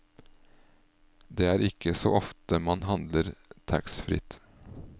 Det er ikke så ofte man handler taxfritt.